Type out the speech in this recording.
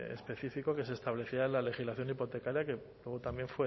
específico que se establecía en la legislación hipotecaria que luego también